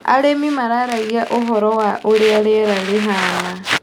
Arĩmi mararagia ũhoro wa ũrĩa riera rĩhana.